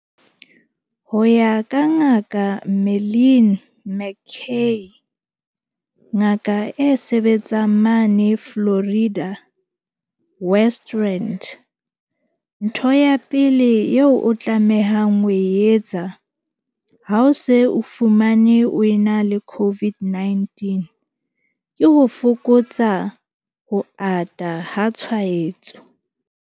Ho ya ka Ngaka Marlin McCay, ngaka e sebetsang mane Florida, West Rand, ntho ya pele eo o tlamehang ho e etsa ha o se o fumanwe o ena le COVID-19 ke ho fokotsa ho ata ha tshwaetso.